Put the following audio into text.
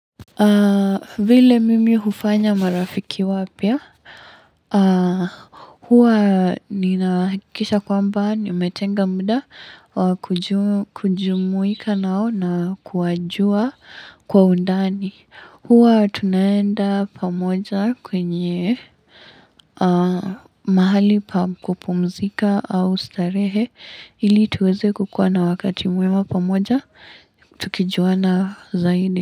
Vile mimi hufanya marafiki wapya? Huwa nina hakikisha kwamba nimetenga muda wa kujumuika nao na kuwajua kwa undani. Huwa tunaenda pamoja kwenye mahali pa kupumzika au starehe ili tuweze kukuwa na wakati mwema pamoja, tukijuana zaidi.